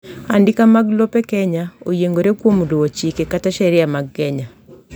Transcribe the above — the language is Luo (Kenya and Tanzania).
andika mag lope kenya oyiengore kuom luwo chike kata sheria mag Kenya